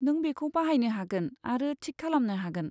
नों बेखौ बाहायनो हागोन आरो थिक खालमनो हागोन।